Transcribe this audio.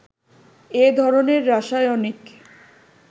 এ ধরনের রাসায়নিক